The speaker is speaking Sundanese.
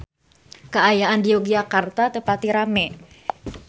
Kaayaan di Yogyakarta teu pati rame